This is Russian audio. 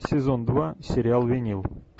сезон два сериал винил